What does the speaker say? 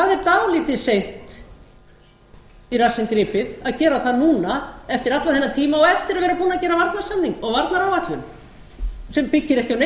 dálítið seint í rassinn gripið að gera það núna eftir allan þennan tíma og eftir að vera búinn að